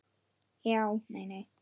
Já, nei, nei.